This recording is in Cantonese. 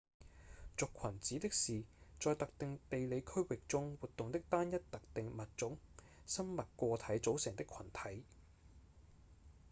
族群指的是在特定地理區域中活動的單一特定物種生物個體組成的群體